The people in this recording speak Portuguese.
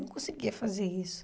Eu não conseguia fazer isso.